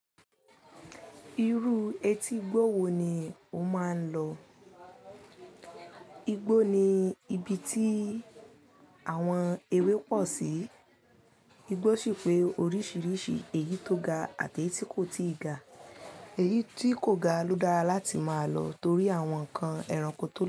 Irú etígbó wo ni o máa ń lọ? Igbó ni ibi tí àwọn ewé pọ̀ sí. Igbó sì pé oríṣiríṣi, èyí tó ga àti èyí tí kò tíì ga. Èyí tí kò ga ló dára láti máa lọ torí àwọn nǹkan ẹranko tó lọ.